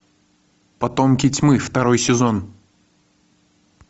потомки тьмы второй сезон